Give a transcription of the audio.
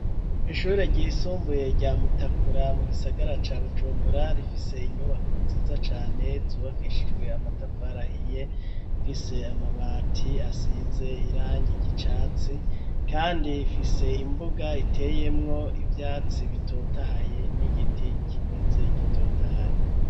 Ishure ryisumbuye rya Mutakura, mu gisagara ca Bujumbura, rifise inyubako nziza cane zubakishijwe amatafari ahiye, ifise amabati asize irangi ry'icatsi kandi ifise imbuga iteyemwo ivyatsi bitotahaye n'igiti kimeze gitotahaye.